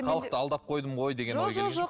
халықты алдап қойдым ғой деген ой